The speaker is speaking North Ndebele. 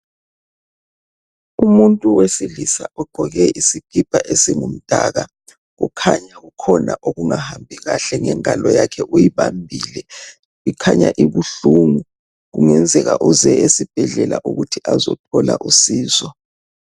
Umuntu wesilisa ugqoke isikipa esingumdaka. Kukhanya kukhona okungahambi kahle ngengalo yakhe. Uyibambile kukhanya ibuhlungu kungenzeka uze esibhedlela ukuthi azothola usizo.